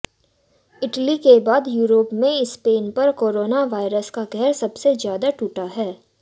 Italy के बाद Europe में स्पेन पर कोरोना वायरस का कहर सबसे ज्यादा टूटा है